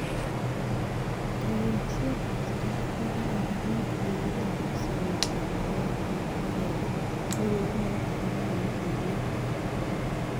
Kayamsietab saratik ko kararan en tililindab ak sobetab baetab ingogenik, ak kounoton konyolu kerib.